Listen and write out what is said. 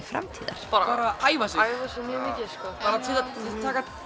framtíðar bara æfa sig bara